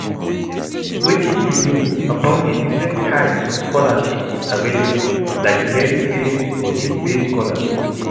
Wetin you know about di different types of scholarships available, like merit-based or need-based scholarships?